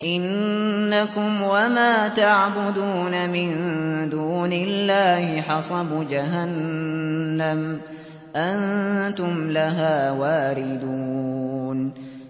إِنَّكُمْ وَمَا تَعْبُدُونَ مِن دُونِ اللَّهِ حَصَبُ جَهَنَّمَ أَنتُمْ لَهَا وَارِدُونَ